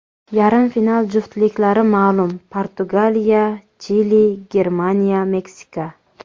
Yarim final juftliklari ma’lum: PortugaliyaChili, GermaniyaMeksika.